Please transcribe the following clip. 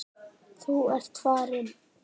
Þú ert farinn.